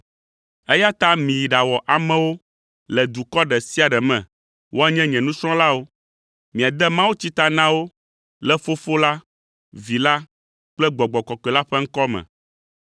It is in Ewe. eya ta miyi ɖawɔ amewo le dukɔ ɖe sia ɖe me woanye nye nusrɔ̃lawo; miade mawutsi ta na wo le Fofo la, Vi la kple Gbɔgbɔ Kɔkɔe la ƒe ŋkɔ me.